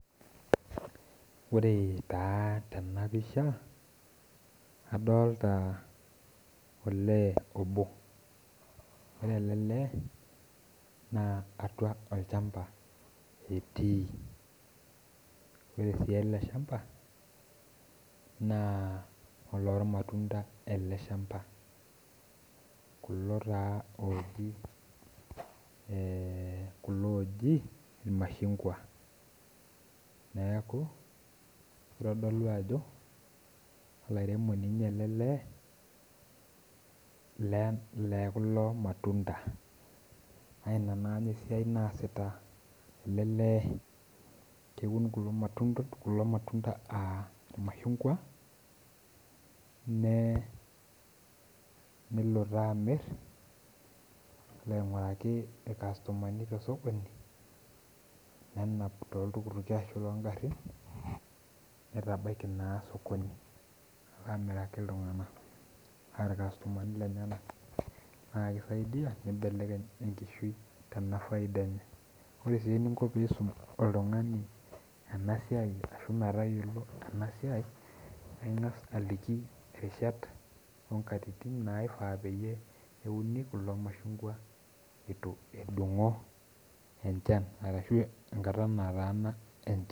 ore taa tena pisha adolita olee obo ore ele lee naa atua olchamba etii, ore sii ele shamba naa olormatunda ele shamba, kulo taa eeh kulo oji ilmashungwa neeku kitodolu ajo olairemoni ele lee le kulo matunda na ina naa esiai naasita ele lee, kewuun kulo matunda a ilmashungwa nee nelo taa amir nelo aing'uraki ilkastomani te sokoni, nenap toltukutuki ashu tongarin neitabaiki naa sokoni amiraki iltung'anak aa ilkastomani lenyenak naa kisaidia pee ibelekeny enkishui tena faida enye, ore sii eningo pee isum oltung'ani ena siai arashu metayiolo ena siai, ing'as aliki irishat o ngatitin naifaa peyie euni kulo mashungwa eitu edung'o enchan arashu engata nataana enchan.